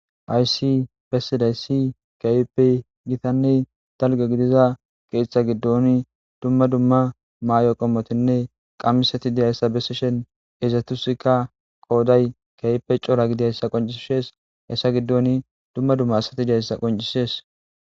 Hayssi bessidaysi ke'ippe gittanne dalgga gidiiza deeththa giddoni dumma dumma ma'iyo qommottinne qamisetti dizayssa besishshin izetussikka qoday kehippe corra gidiidayssa qoncisees issa giddoni dumma dumma assati dizaysa qoncisees